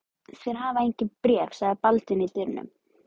Þeir hafa engin bréf, sagði Baldvin í dyrunum.